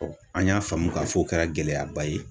Ɔ an y'a faamu k'a fɔ o kɛra gɛlɛyaba ye